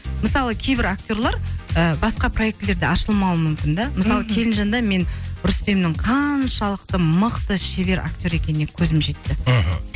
мысалы кейбір актерлар ыыы басқа проектілерде ашылмауы мүмкін де мхм мысалы келінжанда мен рүстемнің қаншалықты мықты шебер актер екеніне көзім жетті мхм